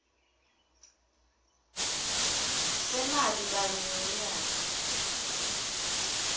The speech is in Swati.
semali kanye ngemnyaka